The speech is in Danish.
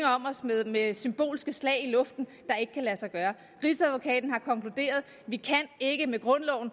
om os med med symbolske slag i luften der ikke kan lade sig gøre rigsadvokaten har konkluderet at vi ikke med grundloven